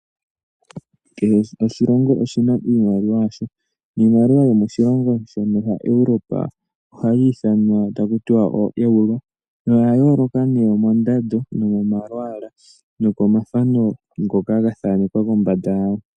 Kehe oshilongo oshi na iimaliwa yasho. Niimaliwa yomiilongo yimwe yenenevi Europa ohayi ithanwa taku tiwa ooEuro. Oya yooloka nee mondando, momalwaala nokomathano ngoka ga thanekwa kombanda yago.